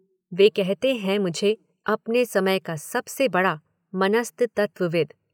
वे कहते हैं मुझे अपने समय का सबसे बड़ा मनस्तत्वविद्।